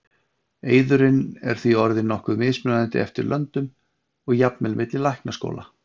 eiðurinn er því orðinn nokkuð mismunandi eftir löndum og jafnvel milli læknaskóla